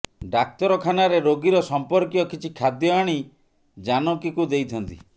ଡାକ୍ତରଖାନାରେ ରୋଗୀର ସଂପର୍କୀୟ କିଛି ଖାଦ୍ୟ ଆଣି ଜାନକୀକୁ ଦେଇଥାନ୍ତି